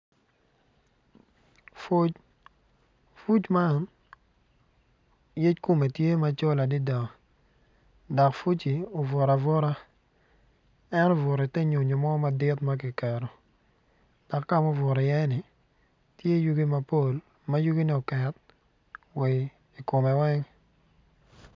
Fuc, fuc man yec kome tye macol adada dok pucci obuto abuta en obuto i ter nyonyo mor madit makiketo dok kama obuto i ye ni tye yugi mapol yugi ne oket wa i kome.